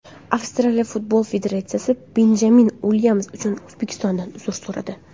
Avstraliya futbol federatsiyasi Benjamin Uilyams uchun O‘zbekistondan uzr so‘radi.